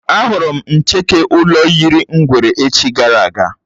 Á hụrụ m ncheke ụlọ yiri ngwere echi gara aga